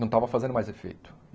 Não estava fazendo mais efeito.